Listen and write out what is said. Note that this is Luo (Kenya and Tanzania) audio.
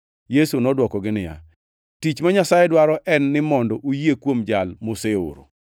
Yesu nodwokogi niya, “Tich ma Nyasaye dwaro en ni mondo uyie kuom Jal moseoro.”